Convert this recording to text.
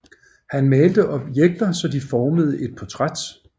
Han malte objekter så de formede et portræt